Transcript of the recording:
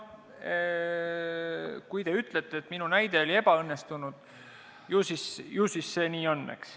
Kui te ütlete, et minu näide oli ebaõnnestunud, ju siis see nii on, eks.